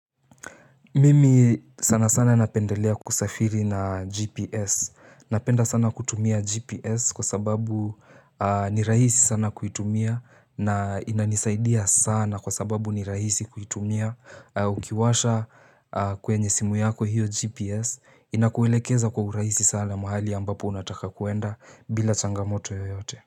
Mimi sanasana napendelea kusafiri na "GPS". Napenda sana kutumia "GPS" kwa sababu, ni rahisi sana kuitumia na inanisaidia sana kwa sababu ni rahisi kuitumia. Ukiwasha kwenye simu yako hiyo "GPS", inakuelekeza kwa urahisi sana mahali ambapo unataka kuenda bila changamoto yoyote.